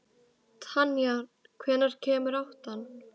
Tanja, hvenær kemur áttan?